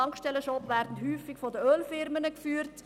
Tankstellenshops werden häufig von Ölfirmen geführt.